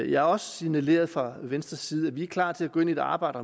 jeg har også signaleret fra venstres side at vi er klar til at gå ind i et arbejde